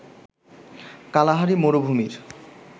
Kalahari মরুভূমির